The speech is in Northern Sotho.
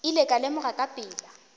ile ka lemoga ka pela